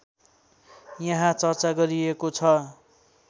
यहाँ चर्चा गरिएको छ